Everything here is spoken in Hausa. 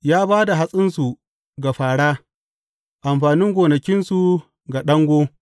Ya ba da hatsinsu ga fāra, amfanin gonakinsu ga ɗango.